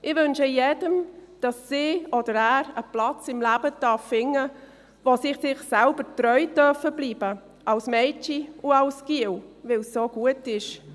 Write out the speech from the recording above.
Ich wünsche allen, dass sie einen Platz im Leben finden dürfen, wo sie sich selber treu bleiben dürfen, als Mädchen und als Junge, weil es gut so ist.